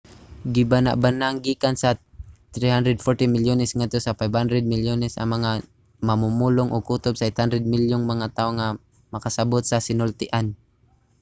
gibanabanang gikan sa 340 milyones ngadto sa 500 milyones ang mga mamumulong ug kutob sa 800 milyong mga tawo ang makasabut sa sinultian